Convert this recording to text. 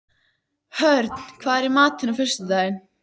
Hörn, hvað er í matinn á föstudaginn?